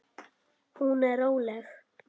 Hún er róleg.